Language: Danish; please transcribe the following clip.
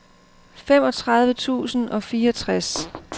femogtredive tusind og fireogtres